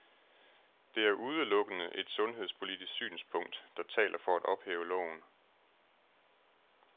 Det er udelukkende et sundhedspolitisk synspunkt, der taler for at ophæve loven.